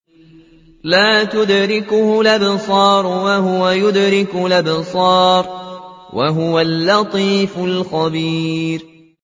لَّا تُدْرِكُهُ الْأَبْصَارُ وَهُوَ يُدْرِكُ الْأَبْصَارَ ۖ وَهُوَ اللَّطِيفُ الْخَبِيرُ